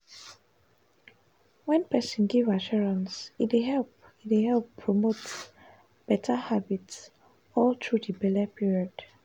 wen person give assurance e dey help e dey help promote better habits all through di belle period.